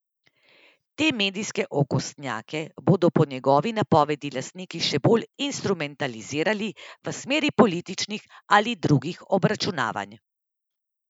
Te medijske okostnjake bodo po njegovi napovedi lastniki še bolj instrumentalizirali v smeri političnih ali drugih obračunavanj.